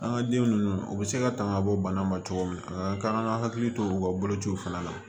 An ka den ninnu u bɛ se ka tangabɔ bana ma cogo min na an ka kan ka hakili to u ka bolociw fana na